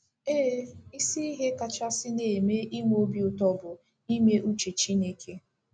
Ee, isi ihe kachasị na-eme inwe obi ụtọ bụ ime uche Chineke.